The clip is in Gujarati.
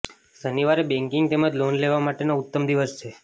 શનિવાર બેંકીગ તેમજ લોન લેવા માટેનો ઉત્તમ દિવસ છે